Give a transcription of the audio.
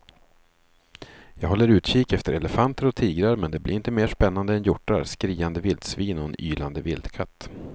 Jag håller utkik efter elefanter och tigrar men det blir inte mer spännande än hjortar, skriande vildsvin och en ylande vildkatt.